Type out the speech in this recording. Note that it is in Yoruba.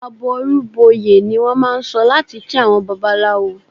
"Àbọrú bọyè" ni wọ́n máà ń sọ láti kí àwọn Babaláwo.